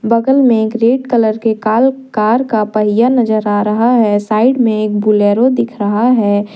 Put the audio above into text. बगल में एक रेड कलर के कॉल कार का पहिया नजर आ रहा है साइड में एक बोलेरो दिख रहा है।